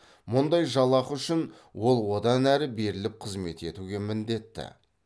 мұндай жалақы үшін ол одан әрі беріліп қызмет етуге міндетті